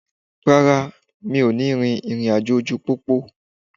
Rárá, mi ò ní rin ìrìn àjò ojú pópó.